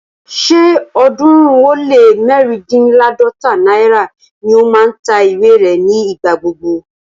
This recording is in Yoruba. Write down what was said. Ṣé ọ̀ọ́dúnrún ó lé mẹ́ríndínláàdọ́ta náírà ni ó máa ń ta ìwé rẹ̀ ní ìgbà gbogbo